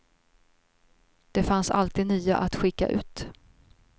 Det fanns alltid nya att skicka ut.